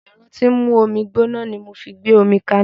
Ẹ̀rọ tí ń mú omi gbóná ni mo fi gbé omi kaná